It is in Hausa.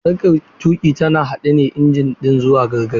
Sarkar tuƙi tana haɗa injin ɗin zuwa gargare.